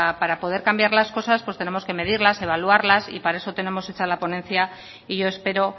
para poder cambiar las cosas pues tenemos que medirlas evaluarlas y para eso tenemos hecha la ponencia y yo espero